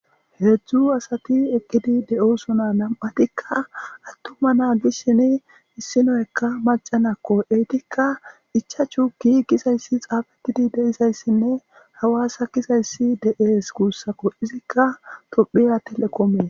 Heezzu asathi eqqidi de7oosona; nam7athikka aththuma na gidishini issi naykka macca na7akko; eethika ichchashu gii giiza issi tsaafeththi de7izayssinne hawaasa gizayssi de7ees guusakoo; ethikka toophphiya thelekoomiya.